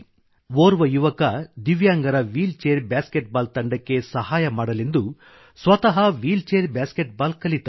ಓರ್ವ ಯುವಕ ದಿವ್ಯಾಂಗರ ವೀಲ್ ಚೇರ್ ಬಾಸ್ಕೆಟ್ ಬಾಲ್ ತಂಡಕ್ಕೆ ಸಹಾಯ ಮಾಡಲೆಂದು ಸ್ವತಃ ವೀಲ್ ಚೇರ್ ಬಾಸ್ಕೆಟ್ ಬಾಲ್ ಕಲಿತ